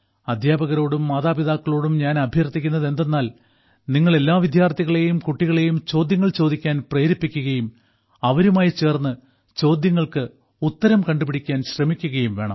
അധ്യാപകരോടും മാതാപിതാക്കളോടും ഞാൻ അഭ്യർത്ഥിക്കുന്നതെന്തെന്നാൽ നിങ്ങൾ എല്ലാ വിദ്യാർത്ഥികളെയും കുട്ടികളെയും ചോദ്യങ്ങൾ ചോദിക്കാൻ പ്രേരിപ്പിക്കുകയും അവരുമായി ചേർന്ന് ചോദ്യങ്ങൾക്ക് ഉത്തരം കണ്ടുപിടിക്കാന് ശ്രമിക്കുകയും വേണം